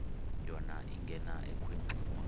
yona ingena ekhwenxua